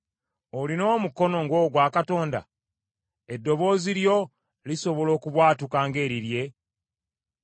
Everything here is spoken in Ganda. Olina omukono ng’ogwa Katonda, eddoboozi lyo lisobola okubwatuka ng’erirye?